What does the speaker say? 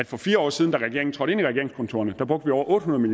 for fire år siden da regeringen trådte ind i regeringskontorerne brugte over otte hundrede